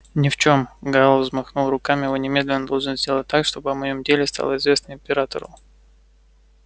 ни в чем гаал взмахнул руками вы немедленно должны сделать так чтобы о моем деле стало известно императору